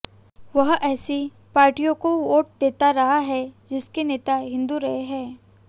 वह ऐसी पार्टियों को वोट देता रहा है जिनके नेता हिंदू रहे हैं